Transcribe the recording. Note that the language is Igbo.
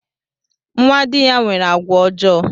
Nnwa dị ya nwere àgwà ọjọọ